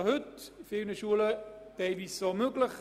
Schon heute ist dies teilweise möglich.